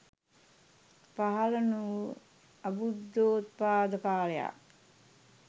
පහළ නොවූ අබුද්ධෝත්පාද කාලයක්.